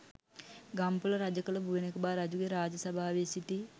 ගම්පොළ රජකළ බුවනෙකබා රජුගේ රාජ සභාවේ සිටි